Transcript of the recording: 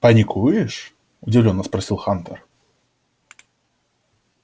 паникуешь удивлённо спросил хантер